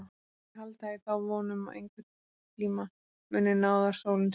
En þeir halda í þá von að einhverntíma muni náðarsólin skína á þá.